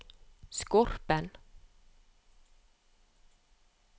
Skorpen